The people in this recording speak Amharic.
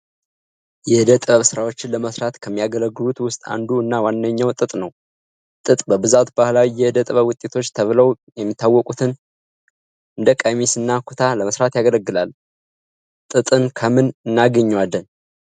የእደ ጥበብ ስራዎችን ለመስራት ከሚያገለግሉት ውስጥ አንዱ እና ዋነኛው ጥጥ ነው። ጥጥ በብዛት ባህላዊ የእደጥበብ ውጤቶች ተብለው የሚታወቁትን እንደ ቀሚስ እና ኩታ ለመስራት ያገለግላል። ጥጥን ከምን እናገኛለን?